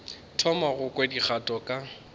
thoma go kwa dikgato ka